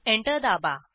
enter दाबा